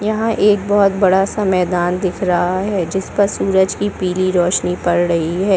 यहाँ एक बहुत बड़ा -सा मैदान दिख रहा है जिस पर सूरज की पीली रोशनी पड़ रही हैं ।